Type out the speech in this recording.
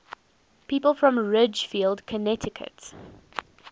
people from ridgefield connecticut